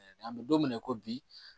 An bɛ don min na i ko bi